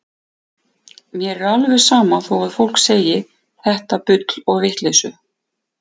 Mér er alveg sama þó að fólk segi þetta bull og vitleysu.